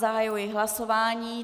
Zahajuji hlasování.